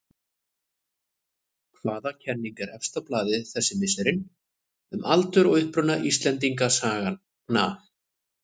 Hvaða kenning er efst á blaði þessi misserin um aldur og uppruna Íslendingasagna?